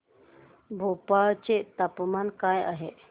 भोपाळ चे तापमान काय आहे